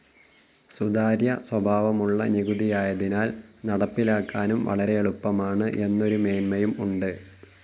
സുതാര്യ സ്വഭാവമുള്ള നികുതിയായതിനാൽ നടപ്പിലാക്കാനും വളരെ എളുപ്പമാണ് എന്നൊരു മേന്മയും ഉണ്ട്.